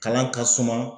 Kalan ka suma